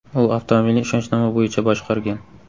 U avtomobilni ishonchnoma bo‘yicha boshqargan.